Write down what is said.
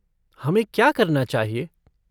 हमें क्या करना चाहिए?